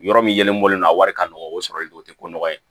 Yɔrɔ min yelen bɔlen don a wari ka nɔgɔn o sɔrɔlen don o tɛ ko nɔgɔ ye